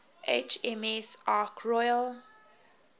hms ark royal